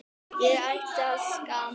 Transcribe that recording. Ég ætti að skamm